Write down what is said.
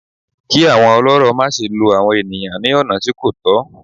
Kí àwọn ọlọ́rọ̀ má se lo àwọn ènìyàn ní ọ̀nà tí kò tọ̀